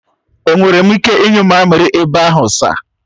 Enwere m ike ịnyu mamiri ebe ahụ sir?